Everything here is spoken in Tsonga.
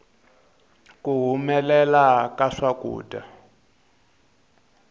ku humelela ka swakudya